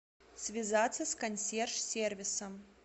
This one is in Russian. связаться с консьерж сервисом